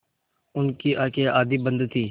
उनकी आँखें आधी बंद थीं